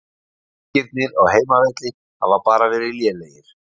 Leikirnir á heimavelli hafa bara verið lélegir.